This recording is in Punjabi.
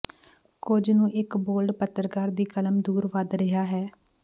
ਕੁਝ ਨੂੰ ਇੱਕ ਬੋਲਡ ਪੱਤਰਕਾਰ ਦੀ ਕਲਮ ਦੂਰ ਵਧ ਰਿਹਾ ਹੈ